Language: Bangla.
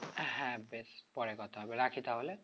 হ্যাঁ বেশ পরে কথা হবে রাখি তাহলে